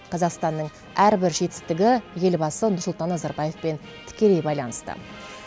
қазақстанның әрбір жетістігі елбасы нұрсұлтан назарбаевпен тікелей байланысты